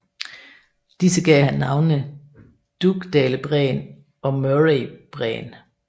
Disse gav han navnene Dugdalebræen og Murraybræen